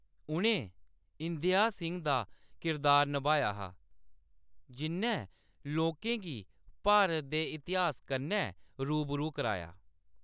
उʼनें इंदेयाह सिंह दा किरदार नभाया हा, जिʼन्नै लोकें गी भारत दे इतिहास कन्नै रूबरू कराया।